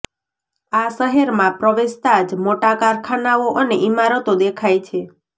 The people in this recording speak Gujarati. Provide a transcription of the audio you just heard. આ શહેરમાં પ્રવેશતા જ મોટા કારખાનાઓ અને ઇમારતો દેખાય છે